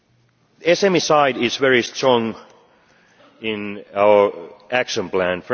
The SME side is very strong in our action plan.